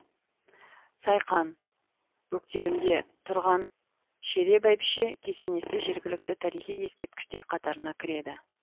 сайқан бөктерінде тұрған шере бәйбіше кесенесі жергілікті тарихи ескерткіштер қатарына кіреді